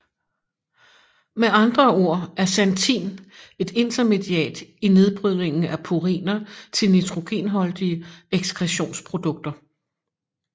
Med andre ord er xanthin et intermediat i nedbrydningen af puriner til nitrogenholdige ekskretionsprodukter